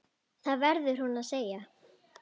Það verður hún að segja.